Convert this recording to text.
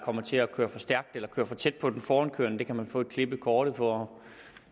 kommer til at køre for stærkt eller kører for tæt på den forankørende det kan man få et klip i kortet for